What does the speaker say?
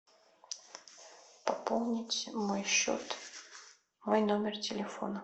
пополнить мой счет мой номер телефона